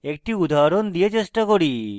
একটি উদাহরণ দিয়ে চেষ্টা করি